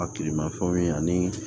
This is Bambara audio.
A tilemafɛnw ye ani